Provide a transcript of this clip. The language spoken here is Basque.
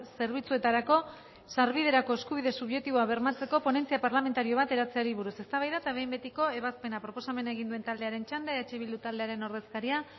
zerbitzuetarako sarbiderako eskubide subjektiboa bermatzeko ponentzia parlamentario bat eratzeari buruz eztabaida eta behin betiko ebazpena proposamena egin duen taldearen txanda eh bildu taldearen ordezkaria